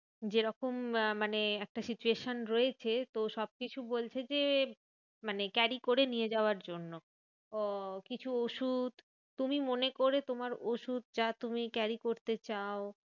যেরকম মানে একটা situation রয়েছে তো সবকিছু বলছে যে, মানে carry করে নিয়ে যাওয়ার জন্য। তো কিছু ওষুধ, তুমি মনে করে তোমার ওষুধ যা তুমি carry করতে চাও